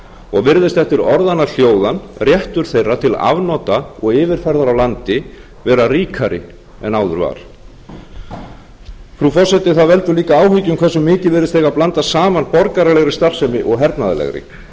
og virðist eftir orðanna hljóðan réttur þeirra til afnota og yfirferðar á landi vera ríkari en áður var frú forseti það veldur líka áhyggjum hversu mikið virðist eiga að blanda saman borgaralegri starfsemi og hernaðarlegri það er